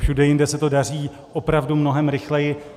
Všude jinde se to daří opravdu mnohem rychleji.